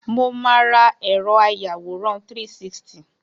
Mo máa ra ẹ̀rọ àyawòran 360.